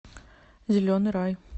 зеленый рай